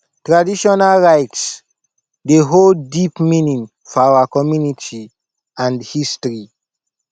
traditional rites dey hold deep meaning for our community and history